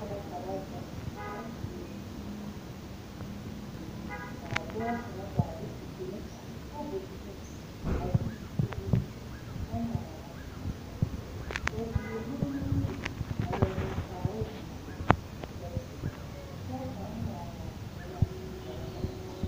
Boma la ka zeŋ a dire ka a dɔɔ kaŋa gaa de o deme pare tabol zuŋ a zeŋ kyuli kyɛ ŋmaara a dire ka ba mine lere nuuri a leɛ zeŋ kaara ziyobo ka ba dire ka pɔge kaŋ ŋmaa ŋaa seɛmaa a gɛrɛ ka o eŋ o noɔreŋ.